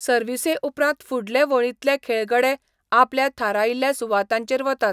सर्वीसे उपरांत फुडले वळींतले खेळगडे आपल्या थारायिल्ल्या सुवातांचेर वतात.